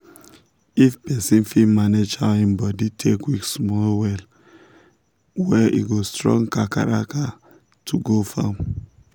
if person fit manage how him body take weak small well- well e go strong kakaraka to go farm